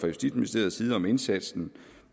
justitsministeriets side om indsatsen